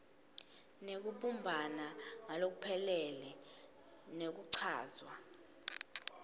kunekubumbana ngalokuphelele nekuchazwa